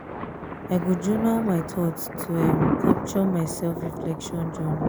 i go journal my thoughts to um capture my self-reflection journey.